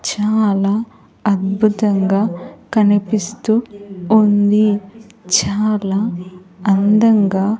చాలా అద్భుతంగా కనిపిస్తూ ఉంది. చాలా అందంగా --